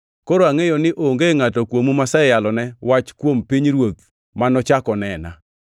“Koro angʼeyo ni onge ngʼato kuomu maseyalone wach kuom pinyruoth manochak onena.